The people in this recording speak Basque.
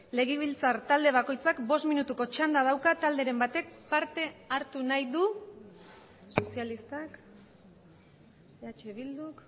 legebiltzar talde bakoitzak bost minutuko txanda dauka talderen batek parte hartu nahi du sozialistak eh bilduk